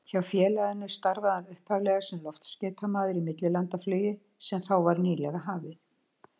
Hjá félaginu starfaði hann upphaflega sem loftskeytamaður í millilandaflugi sem þá var nýlega hafið.